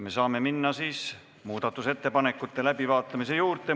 Me saame minna muudatusettepanekute läbivaatamise juurde.